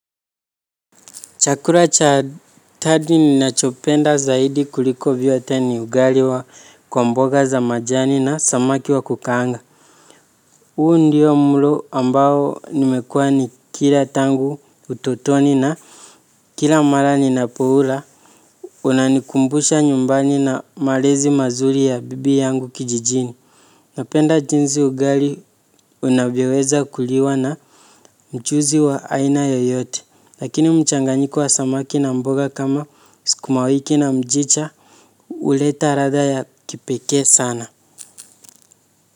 Chakula cha jadi ninachopenda zaidi kuliko vyote ni ugali wa kwa mboga za majani na samaki wa kukaanga. Huu ndio mlo ambao nimekua nikila tangu utotoni na kila mara ninapoula. Unanikumbusha nyumbani na malezi mazuri ya bibi yangu kijijini. Napenda jinsi ugali unavyoweza kuliwa na mchuzi wa aina yoyote. Lakini mchanganyiko wa samaki na mboga kama sukumawiki na mchicha huleta ladha ya kipekee sana.